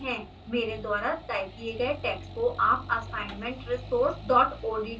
मेरे द्वारा टाइप किए गए टैक्स्ट को आप assignmentresource odt फ़ाइल से copy कर सकते हैं